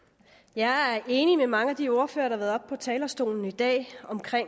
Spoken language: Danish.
jeg er enig med mange af de ordførere der har været oppe på talerstolen i dag